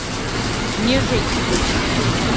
нежить включи